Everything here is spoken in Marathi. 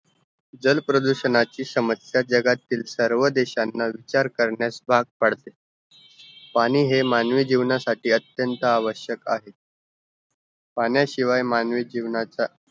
जल प्रदूषण चि समस्या जगातील सर्व देशांना विचार करण्यास भागपाडते पाणी है मानवी जीवन साठी अत्यंत आवश्यक आहे पाणी शिवाय मानवी जीवनाचा